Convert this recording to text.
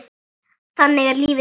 Þannig er lífið sjálft.